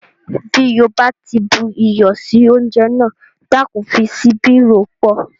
Bí o bá ti bu iyọ̀ sí oúnjẹ náà, Dákun fi síbi rò ó pọ̀